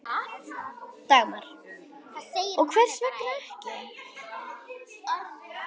Dagmar: Og hvers vegna ekki?